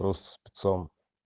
просто спецом